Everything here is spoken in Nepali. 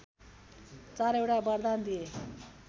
चारैवटा वरदान दिए